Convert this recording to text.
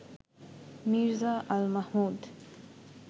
Mirza Al Mahmud